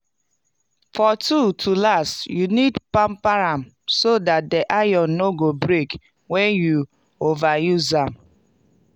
for tool to last you need pamper am so dat de iron no go break wen you over use am.